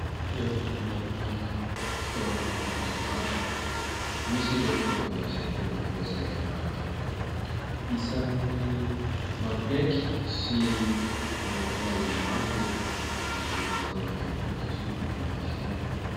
Toeram-pivarotana fitaovana ao an-dakozia maro. Misy ireo fitaovana izay tena mampiasa herinaratra tokoa. Isan'ny mampihaiky sy manintona olona maro itony fitaovana itony satria manamora fiainana.